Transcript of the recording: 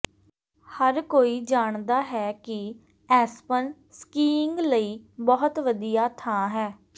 ਹਰ ਕੋਈ ਜਾਣਦਾ ਹੈ ਕਿ ਐਸਪਨ ਸਕੀਇੰਗ ਲਈ ਬਹੁਤ ਵਧੀਆ ਥਾਂ ਹੈ